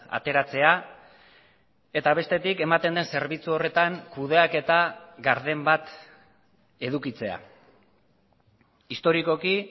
ateratzea eta bestetik ematen den zerbitzu horretan kudeaketa garden bat edukitzea historikoki